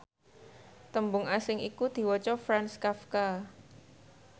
tembung asing iku diwaca Franz Kafka